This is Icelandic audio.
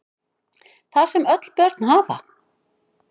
Það sem öll börn hafa